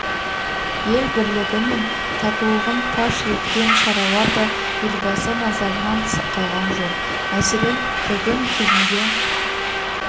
ел бірлігі мен татулығын паш еткен шаралар да елбасы назарынан тыс қалған жоқ мәселен жылдың күзінде